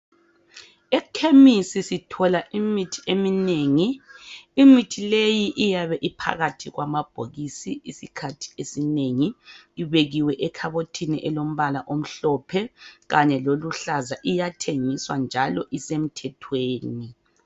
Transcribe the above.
Ekhemisi sithola imithi eminengi. Imithi leyi iyabe iphakathi kwamabhokisi isikhathi esinengi, ibekiwe ekhabothini elombala omhlophe kanye loluhlaza. Iyathengiswa njalo isemthethweni.